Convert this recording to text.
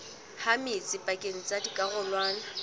ha metsi pakeng tsa dikarolwana